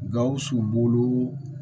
Gawusu bolo